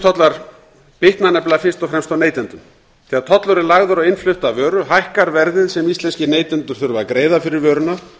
innflutningstollar bitna nefnilega fyrst og fremst á neytendum þegar tollur er lagður á innflutta vöru hækkar verðið sem íslenskir neytendur þurfa að greiða fyrir vöruna